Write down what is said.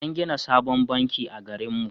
An gina sabon banki a garinmu.